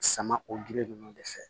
Sama o gili ninnu de fɛ